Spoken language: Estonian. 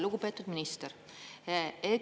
Lugupeetud minister!